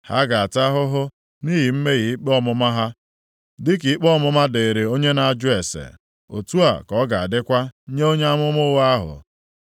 Ha ga-ata ahụhụ nʼihi mmehie ikpe ọmụma ha, dịka ikpe ọmụma dịrị onye na-ajụ ase, otu a ka ọ ga-adịkwa nye onye amụma ụgha ahụ.